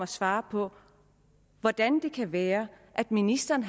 svare på hvordan det kan være at ministeren